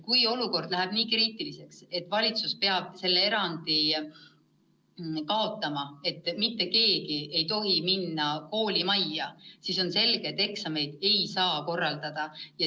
Kui olukord läheb nii kriitiliseks, et valitsus peab need erandid kaotama ja mitte keegi ei tohi minna koolimajja, siis on selge, et eksameid ei saa korraldada.